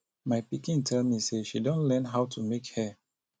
my pikin tell me say she don learn how to make hair